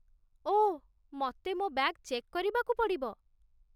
ଓଃ, ମତେ ମୋ bag check କରିବାକୁ ପଡ଼ିବ ।